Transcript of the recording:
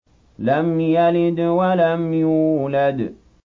لَمْ يَلِدْ وَلَمْ يُولَدْ